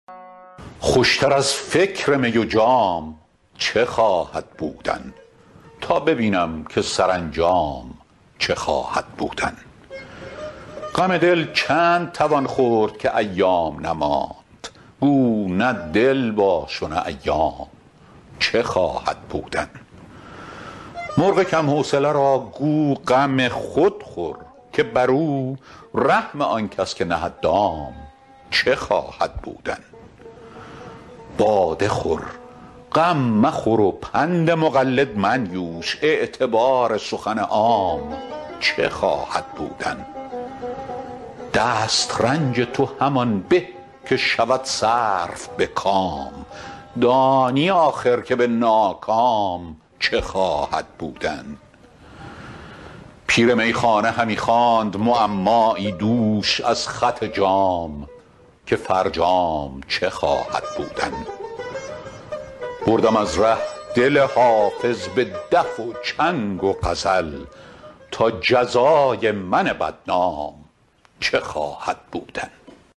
خوش تر از فکر می و جام چه خواهد بودن تا ببینم که سرانجام چه خواهد بودن غم دل چند توان خورد که ایام نماند گو نه دل باش و نه ایام چه خواهد بودن مرغ کم حوصله را گو غم خود خور که بر او رحم آن کس که نهد دام چه خواهد بودن باده خور غم مخور و پند مقلد منیوش اعتبار سخن عام چه خواهد بودن دست رنج تو همان به که شود صرف به کام دانی آخر که به ناکام چه خواهد بودن پیر میخانه همی خواند معمایی دوش از خط جام که فرجام چه خواهد بودن بردم از ره دل حافظ به دف و چنگ و غزل تا جزای من بدنام چه خواهد بودن